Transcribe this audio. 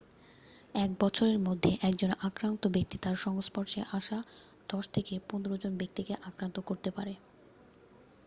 এক বছরের মধ্যে একজন আক্রান্ত ব্যক্তি তার সংস্পর্শে আসা 10 থেকে 15 জন ব্যাক্তিকে আক্রান্ত করতে পারে